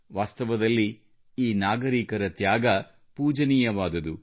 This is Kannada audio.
ವಾಸ್ತವದಲ್ಲಿ ಈ ನಾಗರೀಕರ ತ್ಯಾಗ ಪೂಜನೀಯವಾದುದು